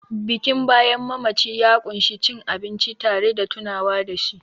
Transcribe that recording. Bikin bayan mamaci ya ƙunshi cin abinci tare da tunawa da shi